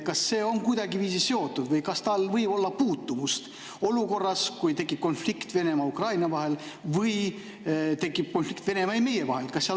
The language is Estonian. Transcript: Kas see on kuidagiviisi seotud sellega või kas tal võib olla puutumust olukorraga, kus tekib konflikt Venemaa ja Ukraina vahel või tekib konflikt Venemaa ja meie vahel?